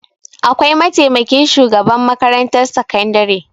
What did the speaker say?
Akwai mataimakin shugaban makarantar sakandare.